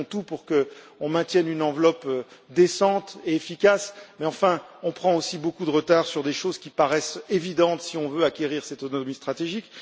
Nous ferons tout pour maintenir une enveloppe décente et efficace, mais nous prenons aussi beaucoup de retard sur des choses qui paraissent évidentes si l'on veut acquérir cette autonomie stratégique.